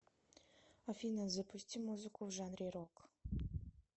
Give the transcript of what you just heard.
афина запусти музыку в жанре рок